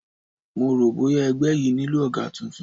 Mo rò bóya ẹgbẹ́ yìí nílò ọ̀gá tuntun